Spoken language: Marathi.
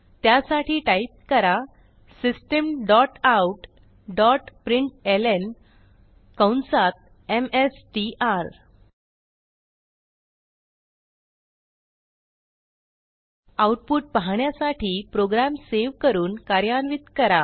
त्यासाठी टाईप करा system dot out dot println कंसात एमएसटीआर आऊटपुट पाहण्यासाठी प्रोग्रॅम सेव्ह करून कार्यान्वित करा